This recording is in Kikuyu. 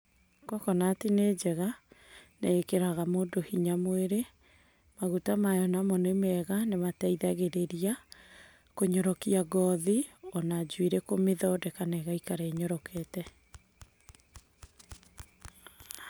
Kokonati nĩ njega, nĩ ĩkĩraga mũndũ hinya mwĩri, maguta mayo namo nĩ mega, nĩ mateithagĩrĩria kũnyorokia ngothi, ona njuĩrĩ kũmĩthondeka, ĩgaikara ĩnyorokete.